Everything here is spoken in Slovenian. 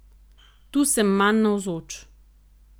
Tu sem manj navzoč.